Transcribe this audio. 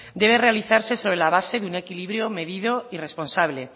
debe realizarse sobre la base de un equilibrio medido y responsable